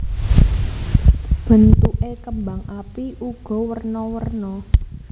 Bentuké kembang api uga werna werna